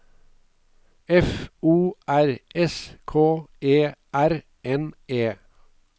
F O R S K E R N E